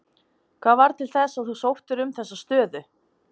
Hvað varð til þess að þú sóttir um þessa stöðu?